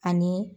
Ani